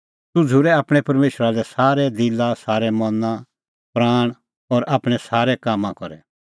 तूह झ़ूरै आपणैं परमेशरा लै सारै दिला मना प्राणा और आपणैं सारै कामां करै